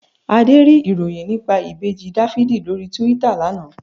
Adé rí ìròyìn nípa Ìbejì Dáfídì lórí Túítà lana